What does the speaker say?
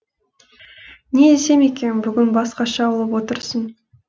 не десем екен бүгін басқаша болып отырсың